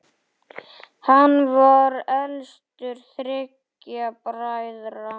Hann var elstur þriggja bræðra.